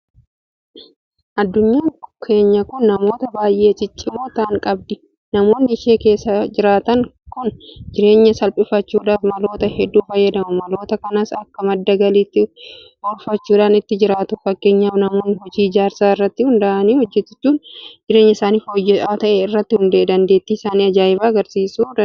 Addunyaan keenya kun namoota baay'ee ciccimoo ta'an qabdi. Namoonni ishee keessa jiraatan kun jireenya salphifachuudhaaf maloota hedduu fayyadamu. Maloota kanas akka madda galiitti oolfachuudhaan ittiin jiraatu. Fakkeenyaaf namoonni hojii ijaarsaa irratti hojjetan bakkeewwan mijatoo hintaane fa'aa irratti dandeettii isaanii ajaa'ibaa agarsiisuu danda'aniiru.